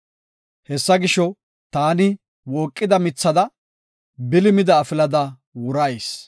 Hessa gisho, taani wooqida mithada; bili mida afilada wurayis.